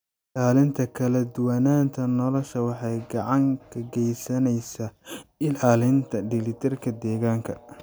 Ilaalinta kala duwanaanta noolaha waxay gacan ka geysaneysaa ilaalinta dheelitirka deegaanka.